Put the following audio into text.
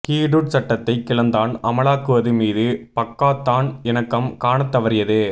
ஹுடுட் சட்டத்தை கிளந்தான் அமலாக்குவது மீது பக்காத்தான் இணக்கம் காணத் தவறியது